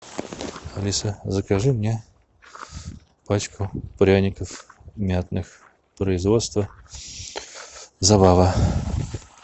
алиса закажи мне пачку пряников мятных производства забава